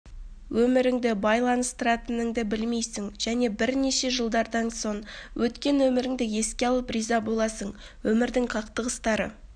өміріңді байланыстыратыныңды білмейсің және бірнеше жылдардан соң өткен өміріңді еске алып риза боласың өмірдің қақтығыстары